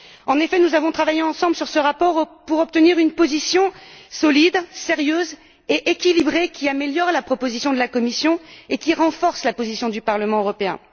En effet, nous avons travaillé ensemble sur ce rapport en vue d'une position solide, sérieuse et équilibrée qui améliore la proposition de la Commission et qui renforce la position du Parlement européen.